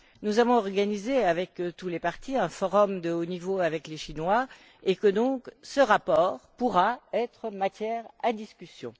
nous avons organisé avec tous les partis un forum de haut niveau avec les Chinois et que, donc, ce rapport pourra être matière à discussion.